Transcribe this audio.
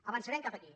avançarem cap aquí